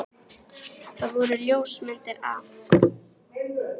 Það voru ljósmyndir af